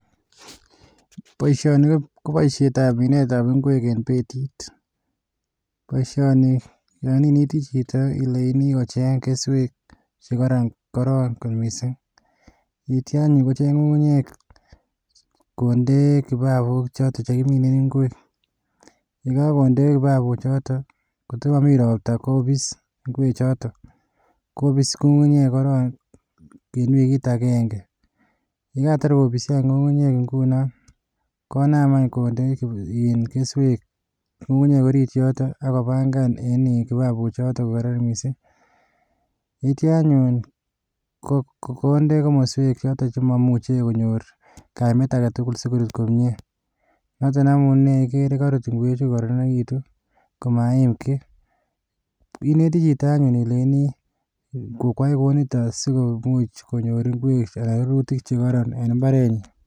Boishoni ko boishietab minetab ingwek en beetit, boishoni yon inetii chito ilenyini kocheng keswek chekoron korong, yeityoo anyun kocheng ng'ung'unyek konde kibabok choton chekimine ingwek. Yekokonde kobabook chotok, ko kot komomii ropta kobis ing'wek choton. Kobiis ng'ung'unyek korong, wikit agenge. Yekatar kobisi ngungunyek ingunon, konaam any kondee keswek ngungunyek oriit yotet ako bangan en kibabok choton missing. Yeityoo anyun konde komoswek chotok chemomuche konyoor kaimet agetugul sikuch koruut komie. Noton amune igere koruut ingweechu kokororonikitun, komaiim kiy. Inetii chito anyone, ileinii koyaa kounitok, sikomuch konyoor rurutiik chekororon en imbarenyin